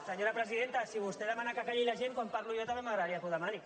senyora presidenta si vostè demana que calli la gent quan parlo jo també m’agradaria que ho demani